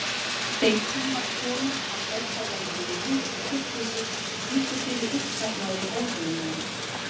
Þeir tímar koma að óttablandin virðing og kurteisi víkur fyrir uppsafnaðri óþolinmæði.